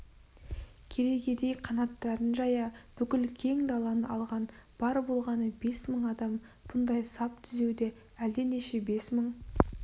керегедей қанаттарын жая бүкіл кең даланы алған бар болғаны бес мың адам бұндай сап түзеуде әлденеше бес мың